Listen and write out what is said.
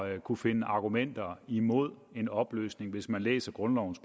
at kunne finde argumenter imod en opløsning hvis man læser grundlovens